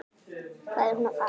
Hvað er hún að fara?